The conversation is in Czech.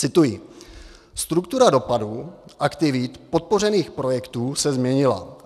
Cituji: "Struktura dopadů aktivit podpořených projektů se změnila.